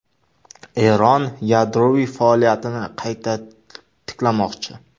Eron yadroviy faoliyatini qayta tiklamoqchi.